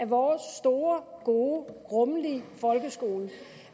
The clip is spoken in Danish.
vores store gode rummelige folkeskole